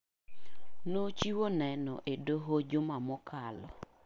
Nochiwo neno e doho juma mokalo.